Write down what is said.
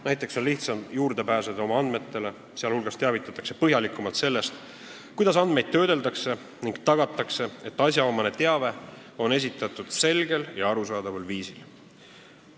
Näiteks on lihtsam oma andmetele juurde pääseda, inimest teavitatakse põhjalikumalt sellest, kuidas andmeid töödeldakse, ning tagatakse, et asjaomane teave on esitatud selgel ja arusaadaval viisil.